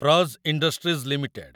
Praj industries limited